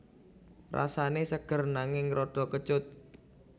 Rasane seger nanging rada kecut